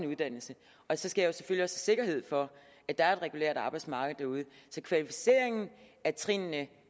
uddannelse og så skal jeg selvfølgelig sikkerhed for at der er et regulært arbejdsmarked så kvalificeringen af trinene